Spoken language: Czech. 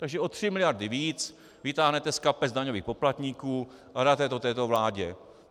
Takže o tři miliardy víc vytáhnete z kapes daňových poplatníků a dáte je této vládě.